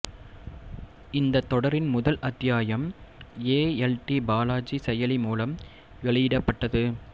இந்தத் தொடரின் முதல் அத்தியாயம் ஏ எல் டி பாலாஜி செயலி மூலம் வெளியிடப்பட்டது